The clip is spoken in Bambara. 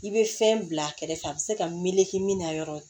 I bɛ fɛn bila a kɛrɛfɛ a bɛ se ka meleke min na yɔrɔ ye